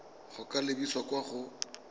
go ka lebisa kwa go